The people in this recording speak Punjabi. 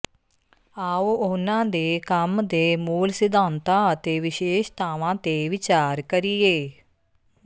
ਆਓ ਉਨ੍ਹਾਂ ਦੇ ਕੰਮ ਦੇ ਮੂਲ ਸਿਧਾਂਤਾਂ ਅਤੇ ਵਿਸ਼ੇਸ਼ਤਾਵਾਂ ਤੇ ਵਿਚਾਰ ਕਰੀਏ